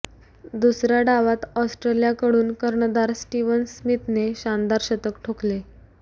दुसऱया डावात ऑस्ट्रेलियाकडून कर्णधार स्टीव्हन स्मिथने शानदार शतक ठोकले